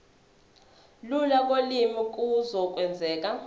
lula kolimi kuzokwenzeka